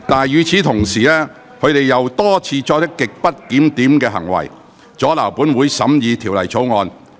與此同時，他們卻又多次作出極不檢點的行為，阻撓本會審議《條例草案》。